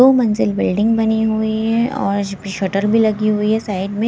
दो मंजिल बिल्डिंग बनी हुई है और शटर भी लगी हुई है साइड में।